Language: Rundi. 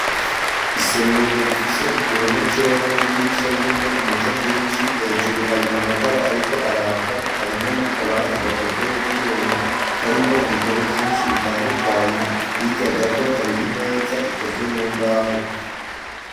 Isomero rifise igihome cera n'idirisha ririmwo umuco mwinshi hejuru hari amatara ariko araka harimwo n'akabati gakozwe mu vyuma karimwo ibitabo vyinshi bitandukanye hirya gato hari imeza ikozwe mu mbaho.